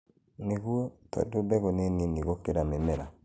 nĩguo, tondũ mbegũ nĩnini gũkĩra mĩmera